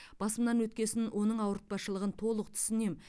басымнан өткесін оның ауыртпашылығын толық түсінемін